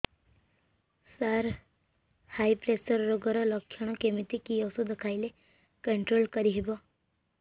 ସାର high pressure ରୋଗର ଲଖଣ କେମିତି କି ଓଷଧ ଖାଇଲେ କଂଟ୍ରୋଲ କରିହେବ